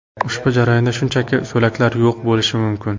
Ushbu jarayonda shunchaki so‘laklar yo‘q bo‘lishi mumkin.